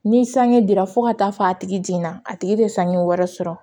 Ni sange dira fo ka taa fɔ a tigi jiginna a tigi tɛ sange wɛrɛ sɔrɔ